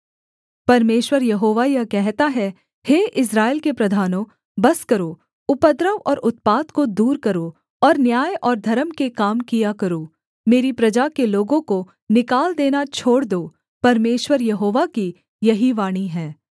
परमेश्वर यहोवा यह कहता है हे इस्राएल के प्रधानों बस करो उपद्रव और उत्पात को दूर करो और न्याय और धर्म के काम किया करो मेरी प्रजा के लोगों को निकाल देना छोड़ दो परमेश्वर यहोवा की यही वाणी है